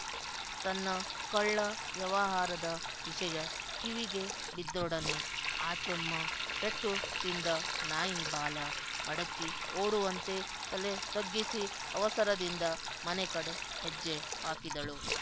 ತನ್ನ ಕಳ್ಳ ವ್ಯವಹಾರದ ವಿಷಯ ಕಿವಿಗೆ ಬಿದ್ದೊಡನೆ ಆಚುಮ್ಮ ಪೆಟ್ಟು ತಿಂದ ನಾಯಿ ಬಾಲ ಮಡಚಿ ಓಡುವಂತೆ ತಲೆ ತಗ್ಗಿಸಿ ಅವಸರದಿಂದ ಮನೆ ಕಡೆ ಹೆಜ್ಜೆ ಹಾಕಿದಳು